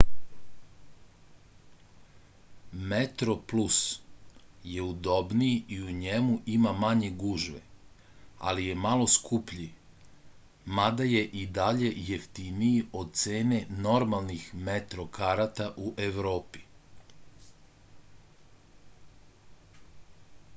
metroplus je udobniji i u njemu ima manje gužve ali je malo skuplji mada je i dalje jeftiniji od cene normalnih metro karata u evropi